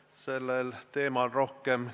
Mida te teete, et ei tekiks täiendavat pinget tööjõuturul?